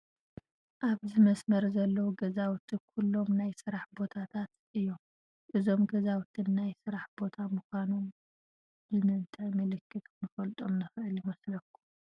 ኣብዚ መስመር ዘለዉ ገዛውቲ ኩሎም ናይ ስራሕ ቦታታት እዮም፡፡ እዞም ገዛውቲ ናይ ስራሕ ቦታ ምዃኖም ብምንታይ ምልክት ክንፈልጦም ንኽእል ይመስለኩም፡